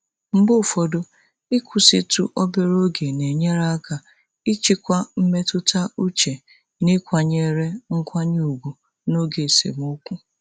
Mgbe ụfọdụ, ịkwụsịtụ obere oge na-enyere aka ịchịkwa mmetụta uche na ịkwanyere nkwanye ùgwù n'oge esemokwu.